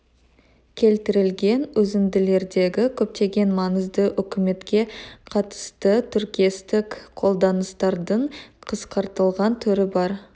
келтірілген үзінділердегі көптеген маңызды өкіметке қатысты тіркестік қолданыстардың қысқартылған түрі бар